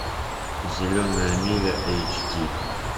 зеленая миля эйч ди